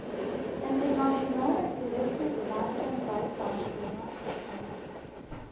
internasionale toerismebemarkingbystandskema itmas